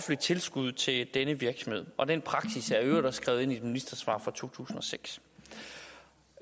tilskud til denne virksomhed og den praksis er i øvrigt også skrevet ind i et ministersvar fra to tusind og seks